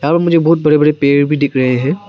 मुझे बहुत बड़े बड़े पेड़ भी दिख रहे है।